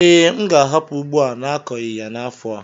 Ee, m ga-ahapụ ugbo a n'akọghi ya n'afọ a.